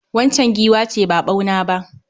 Waccan giwa ce ba ɓauna ba.